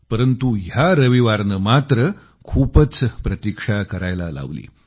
परंतु या रविवारनं मात्र खूपच प्रतीक्षा करायला लावली